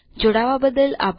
જોડવા બદલ આભાર